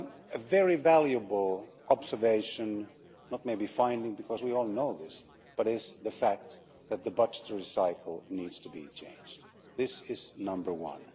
A very valuable observation not maybe a finding, because we all know this but it is a fact that the budgetary cycle needs to be changed. This is number one.